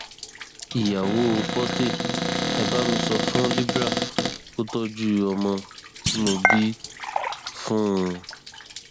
ìyàwó porté e bá mi sọ fún libre kó tọjú ọmọ tí mo bí fún un